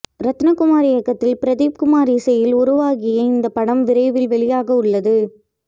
ரத்னகுமார் இயக்கத்தில் பிரதீப் குமார் இசையில் உருவாகிய இந்த படம் விரைவில் வெளியாகவுள்ளது